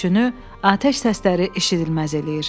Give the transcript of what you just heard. Gülüşünü atəş səsləri eşidilməz eləyir.